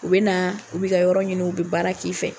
U bɛ na u bɛ ka yɔrɔ ɲini u bɛ baara k'i fɛ.